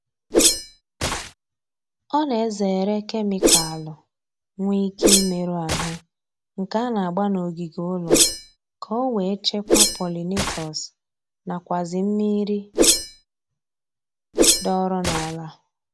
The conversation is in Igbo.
Ọ na-ezere kemikalu nwe ike imerụ ahụ nke a na-agba n'ogige ụlọ ka o wee chekwaa polinatọs nakwazi mmiri dọọrọ n'ala